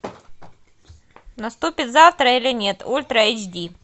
наступит завтра или нет ультра эйч ди